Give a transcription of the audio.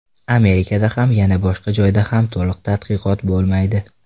Amerikada ham, yana boshqa joyda ham to‘liq tadqiqot bo‘lmaydi.